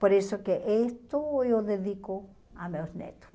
Por isso que isto eu dedico a meus netos.